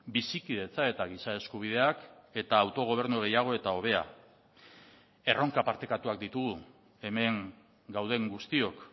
bizikidetza eta giza eskubideak eta autogobernu gehiago eta hobea erronka partekatuak ditugu hemen gauden guztiok